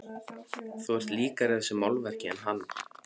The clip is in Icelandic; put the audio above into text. Þú ert líkari þessu málverki en hann.